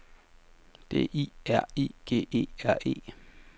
D I R I G E R E